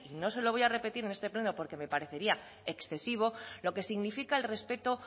no se lo voy a repetir en este pleno porque me parecería excesivo lo que significa el respeto